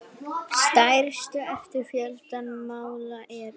Stærstu eftir fjölda mála eru